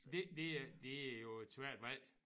Det det er det er jo et svært valg